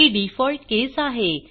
ही default case आहे